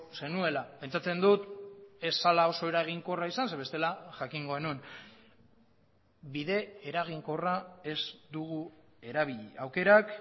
zenuela pentsatzen dut ez zela oso eraginkorra izan ze bestela jakingo genuen bide eraginkorra ez dugu erabili aukerak